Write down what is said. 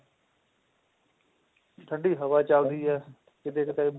ਠੰਡੀ ਹਵਾ ਚਲਦੀ ਹੈ ਕਿਤੇ ਕਿਤੇ